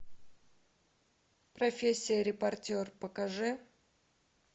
профессия репортер покажи